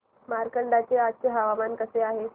मार्कंडा चे आजचे हवामान कसे आहे